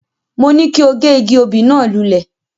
Mo ní kí o gé igi obì náà lulẹ̀.